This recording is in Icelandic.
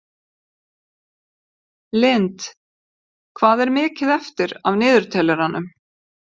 Lind, hvað er mikið eftir af niðurteljaranum?